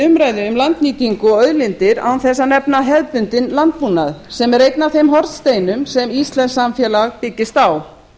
umræðu um landnýtingu og auðlindir án þess að nefna hefðbundinn landbúnað sem er einn af þeim hornsteinum sem íslenskt samfélag byggist á